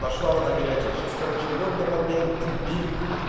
пошла вода горячая сейчас короче мёд добавляем имбирь